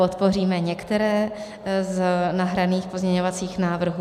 Podpoříme některé z nahraných pozměňovacích návrhů.